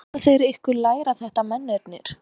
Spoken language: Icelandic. Láta þeir ykkur læra þetta mennirnir?